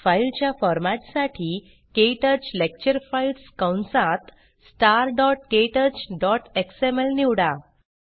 file च्या format साठी क्टच लेक्चर फाइल्स कंसात starktouchएक्सएमएल निवडा